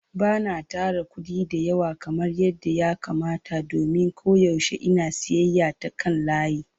Ba na tara kuɗi da yawa kamar yadda ya kamata domin koyaushe ina siyayya ta kan layi.